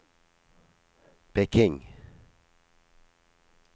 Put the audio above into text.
Peking